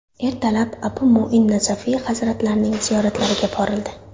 Ertalab Abu Mu’in Nasafiy hazratlarining ziyoratlariga borildi.